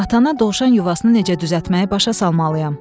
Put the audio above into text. Atana dovşan yuvasını necə düzəltməyi başa salmalıyam.